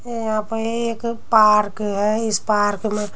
यहाँ पे एक पार्क है इस पार्क में --